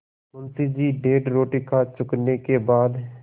मुंशी जी डेढ़ रोटी खा चुकने के बाद